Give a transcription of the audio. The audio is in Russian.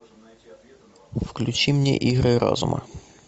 включи мне игры разума